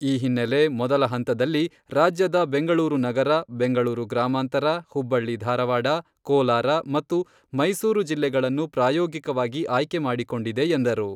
ಈ ಹಿನ್ನೆಲೆ ಮೊದಲ ಹಂತದಲ್ಲಿ ರಾಜ್ಯದ ಬೆಂಗಳೂರು ನಗರ, ಬೆಂಗಳೂರು ಗ್ರಾಮಾಂತರ, ಹುಬ್ಬಳ್ಳಿ ಧಾರಾವಾಡ, ಕೋಲಾರ ಮತ್ತು ಮೈಸೂರು ಜಿಲ್ಲೆಗಳನ್ನು ಪ್ರಾಯೋಗಿಕವಾಗಿ ಆಯ್ಕೆ ಮಾಡಿಕೊಂಡಿದೆ ಎಂದರು.